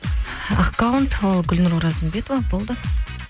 аккаунт ол гүлнұр оразымбетова болды